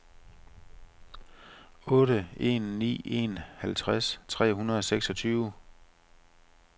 otte en ni en halvtreds tre hundrede og seksogtyve